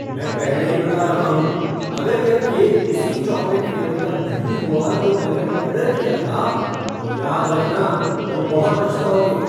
मैं पहले ही बता रहा हूँ, अगर यह केक उसी चॉकलेट फ़्लेवर का नहीं हुआ जो मैंने ऑर्डर किया था, तो याद रखना तुम बहुत पछताओगे।